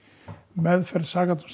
meðferð